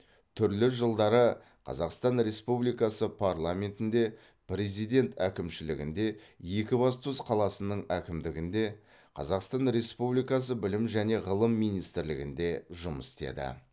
түрлі жылдары қазақстан республикасы парламентінде президент әкімшілігінде екібастұз қаласының әкімдігінде қазақстан республикасы білім және ғылым министрлігінде жұмыс істеді